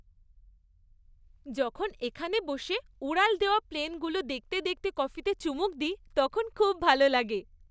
যখন এখানে বসে উড়াল দেওয়া প্লেনগুলো দেখতে দেখতে কফিতে চুমুক দিই, তখন খুব ভাল লাগে।